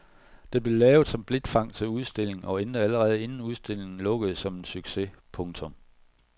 Den blev lavet som blikfang til udstilling og endte allerede inden udstillingen lukkede som en succes. punktum